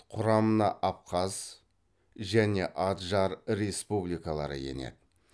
құрамына абхаз және аджар республикалары енеді